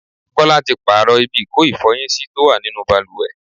Kọ́lá tí pààrọ̀ ibi ìko ifọyin sí tó wà nínú bàlùwẹ̀.